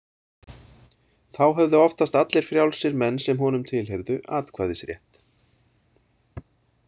Þá höfðu oftast allir frjálsir menn sem honum tilheyrðu atkvæðisrétt.